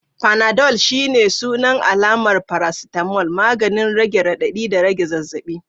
Panadol shine sunan alamar paracetamol, maganin rage radadi da rage zazzabi.